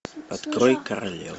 открой королева